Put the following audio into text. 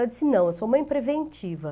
Ela disse, não, eu sou mãe preventiva.